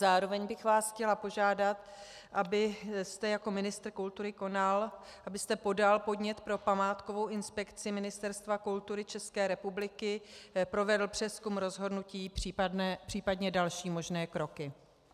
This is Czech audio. Zároveň bych vás chtěla požádat, abyste jako ministr kultury konal, abyste podal podnět pro památkovou inspekci Ministerstva kultury České republiky, provedl přezkum rozhodnutí případně další možné kroky.